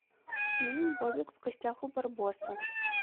фильм бобик в гостях у барбоса